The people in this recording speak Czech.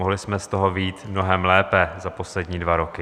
Mohli jsme z toho vyjít mnohem lépe za poslední dva roky.